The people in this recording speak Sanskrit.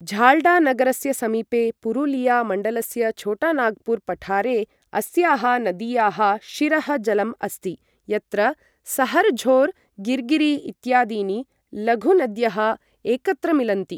झाल्डा नगरस्य समीपे पुरुलिया मण्डलस्य छोटा नागपुर पठारे अस्याः नदीयाः शिरः जलम् अस्ति, यत्र सहरझोर गिर्गिरी इत्यादीनि लघु नद्यः एकत्र मिलन्ति ।